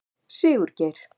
Sigurgeir